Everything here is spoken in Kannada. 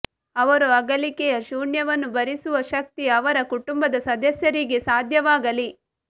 ಅವರ ಅಗಲಿಕೆಯ ಶೂನ್ಯವನ್ನು ಭರಿಸುವ ಶಕ್ತಿ ಅವರ ಕುಟುಂಬದ ಸದಸ್ಯರಿಗೆ ಸಾಧ್ಯವಾಗಲಿ